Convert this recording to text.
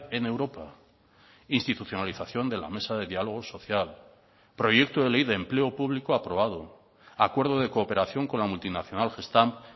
en europa institucionalización de la mesa de diálogo social proyecto de ley de empleo público aprobado acuerdo de cooperación con la multinacional gestamp